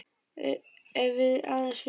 Ef við aðeins vissum.